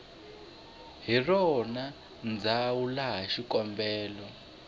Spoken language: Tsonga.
hi rona ndzhawu laha xikombelo